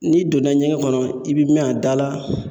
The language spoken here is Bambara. N'i donna ɲɛgɛn kɔnɔ, i bi mɛn a da la.